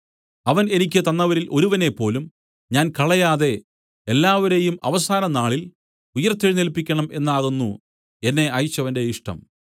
അവൻ എനിക്ക് തന്നവരിൽ ഒരുവനേപ്പോലും ഞാൻ കളയാതെ എല്ലാവരെയും അവസാന നാളിൽ ഉയിർത്തെഴുന്നേല്പിക്കണം എന്നാകുന്നു എന്നെ അയച്ചവന്റെ ഇഷ്ടം